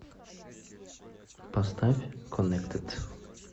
поставь коннектед